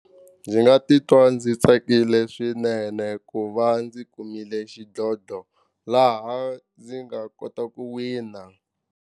Ndzi nga titwa ndzi tsakile swinene ku va ndzi kumile xidlodlo laha ndzi nga kota ku wina.